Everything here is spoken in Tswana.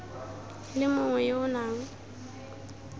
le mongwe yo o nang